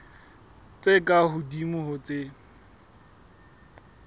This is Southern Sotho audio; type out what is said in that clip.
tse ka hodimo ho tse